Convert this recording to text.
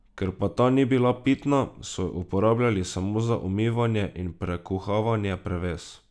Ker pa ta ni bila pitna, so jo uporabljali samo za umivanje in prekuhavanje prevez.